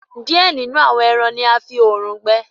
diẹ nínú àwọn èràn ní a fí òòrùn gbẹ.